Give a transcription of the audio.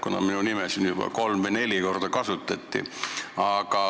Minu nime nimetati siin lausa kolm või neli korda.